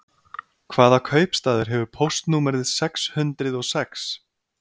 Hvaða kaupstaður hefur póstnúmerið sex hundrið og sex?